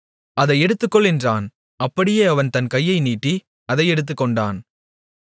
அதை எடுத்துக்கொள் என்றான் அப்படியே அவன் தன் கையை நீட்டி அதை எடுத்துக்கொண்டான்